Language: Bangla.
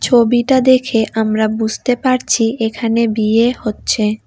ছবিটা দেখে আমরা বুসতে পারছি এখানে বিয়ে হচ্ছে।